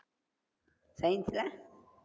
science ல